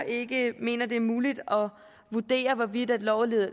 ikke mener det er muligt at vurdere hvorvidt loven